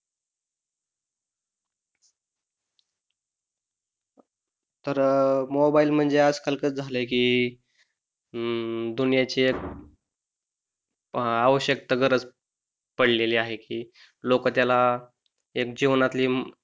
तर मोबाइल म्हणजे आज काल कस झालाय कि, अं दुनियेचे आवश्यता गरज पडलेले आहे हि लोक त्याला एक जीवनातली,